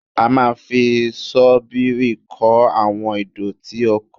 A máa fi ṣọ́bìrì kó àwọn ìdọ̀tí oko